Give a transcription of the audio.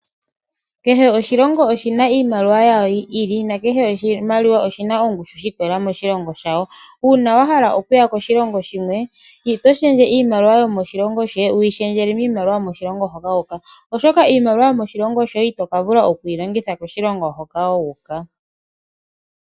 Kehe oshilongo oshina iimaliwa yasho yi ili nakehe oshimaliwa oshina ongushu shiikolelela moshilongo shawo. Uuna wahala okuya koshilongo shimwe oto shendje iimaliwa yomoshilongo shoye toyi shendjele miimaliwa yomoshilongo hoka wuuka oshoka iimaliwa yomoshilongo shoye itoka vula okuyilongitha koshilongo hoka wuuka.